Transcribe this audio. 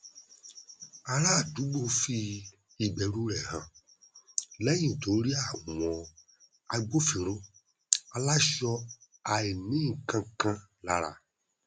ará àdúgbò fi ìbẹrù rẹ hàn lẹyìn tó rí àwọn agbófinró aláṣọ àìnínnkankan lára